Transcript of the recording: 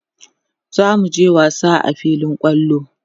zamuje wasa a filin kwallo